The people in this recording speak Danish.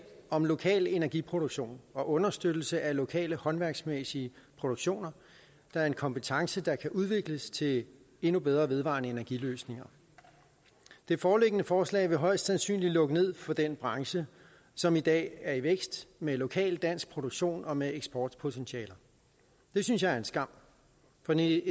om lokal energiproduktion og understøttelse af lokale håndværksmæssige produktioner der er en kompetence der kan udvikles til endnu bedre vedvarende energi løsninger det foreliggende forslag vil højst sandsynligt lukke ned for den branche som i dag er i vækst med lokal dansk produktion og med eksportpotentiale det synes jeg er en skam for det